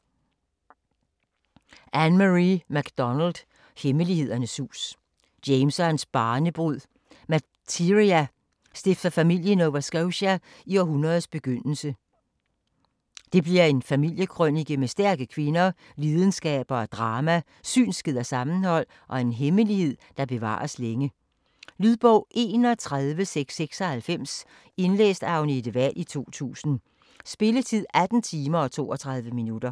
MacDonald, Ann-Marie: Hemmelighedernes hus James og hans barnebrud Materia stifter familie i Nova Scotia i århundredets begyndelse. Det bliver en familiekrønike med stærke kvinder, lidenskaber og drama, synskhed og sammenhold og en hemmelighed, der bevares længe. Lydbog 31696 Indlæst af Agnete Wahl, 2000. Spilletid: 18 timer, 32 minutter.